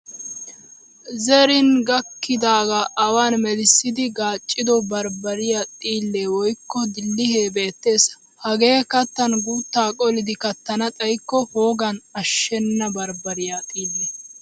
Zerin gakkidaagaa awan melissidi gaaccido baribariyaa xiillee woykko dillihee beettees. Hagee kattan guuttaa qolidi kattana xaykko poogan ashshenna baribariyaa xiille.